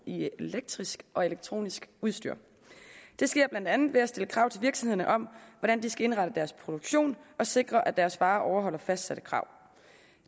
i elektrisk og elektronisk udstyr det sker blandt andet ved at der stilles krav til virksomhederne om hvordan de skal indrette deres produktion og sikre at deres varer overholder fastsatte krav